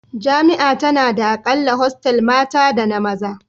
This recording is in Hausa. Jami'a tana da a kalla hostel mata da na maza